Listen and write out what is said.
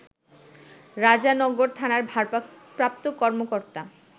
রাজনগর থানার ভারপ্রাপ্ত কর্মকর্তা